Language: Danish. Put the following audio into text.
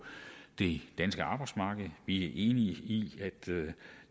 det danske arbejdsmarked vi er enige i at